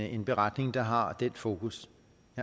en beretning der har den fokus